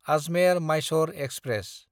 आजमेर–माइसोर express